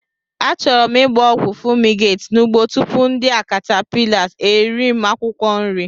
Achọrọ m gba ogwu fumigate n'ugbo tupu ndị a caterpillars eri m akwukwo nri.